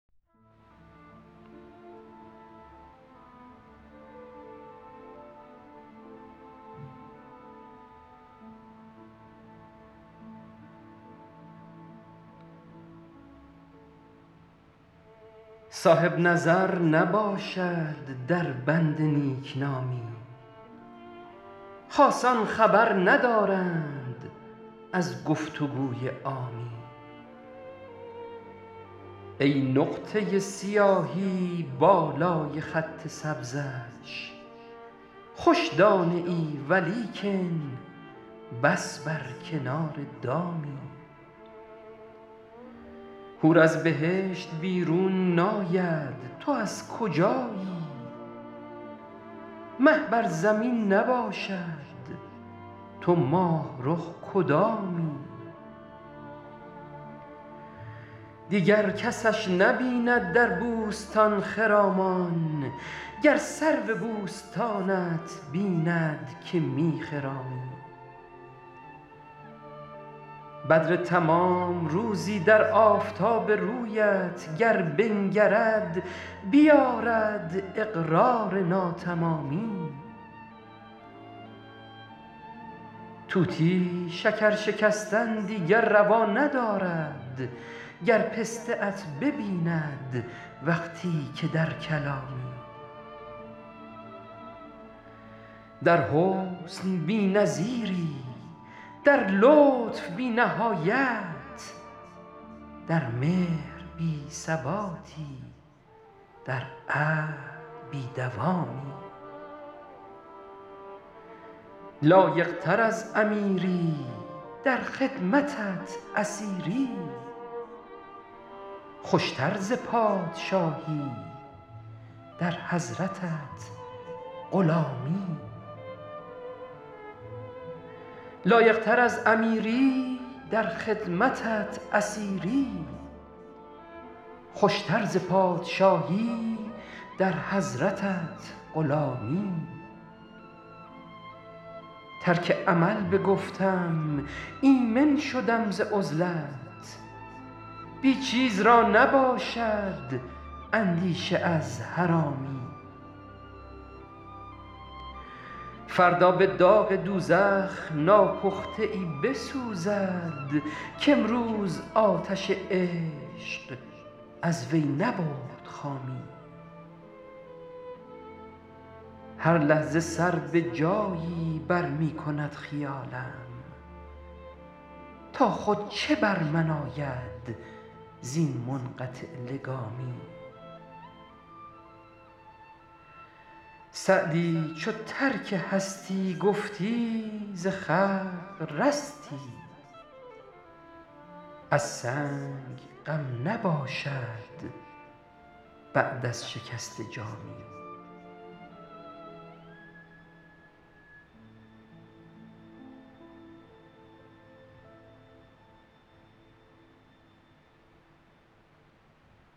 صاحب نظر نباشد در بند نیک نامی خاصان خبر ندارند از گفت و گوی عامی ای نقطه سیاهی بالای خط سبزش خوش دانه ای ولیکن بس بر کنار دامی حور از بهشت بیرون ناید تو از کجایی مه بر زمین نباشد تو ماه رخ کدامی دیگر کسش نبیند در بوستان خرامان گر سرو بوستانت بیند که می خرامی بدر تمام روزی در آفتاب رویت گر بنگرد بیآرد اقرار ناتمامی طوطی شکر شکستن دیگر روا ندارد گر پسته ات ببیند وقتی که در کلامی در حسن بی نظیری در لطف بی نهایت در مهر بی ثباتی در عهد بی دوامی لایق تر از امیری در خدمتت اسیری خوش تر ز پادشاهی در حضرتت غلامی ترک عمل بگفتم ایمن شدم ز عزلت بی چیز را نباشد اندیشه از حرامی فردا به داغ دوزخ ناپخته ای بسوزد کامروز آتش عشق از وی نبرد خامی هر لحظه سر به جایی بر می کند خیالم تا خود چه بر من آید زین منقطع لگامی سعدی چو ترک هستی گفتی ز خلق رستی از سنگ غم نباشد بعد از شکسته جامی